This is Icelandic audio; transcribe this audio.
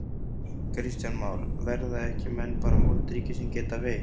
Kristján Már: Verða menn ekki bara moldríkir sem geta veitt?